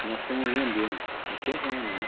E nós estamos vendendo o terreno, né?